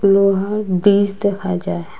লোহার ব্রিজ দেখা যায়।